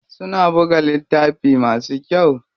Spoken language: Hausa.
Suna buga littafi masu kyau.